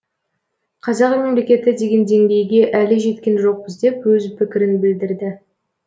қазақ мемлекеті деген деңгейге әлі жеткен жоқпыз деп өз пікірін білдірді